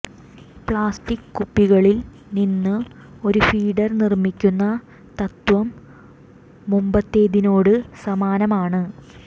plastic കുപ്പികളിൽ നിന്ന് ഒരു ഫീഡർ നിർമിക്കുന്ന തത്വം മുമ്പത്തേതിനോടു സമാനമാണ്